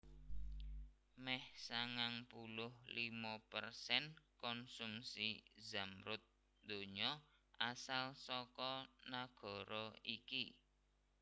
Mèh sangang puluh limo persen konsumsi zamrud donya asal saka nagara iki